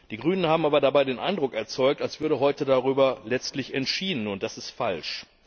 Die Grünen haben aber dabei den Eindruck erzeugt, als würde heute darüber letztlich entschieden, und das ist falsch.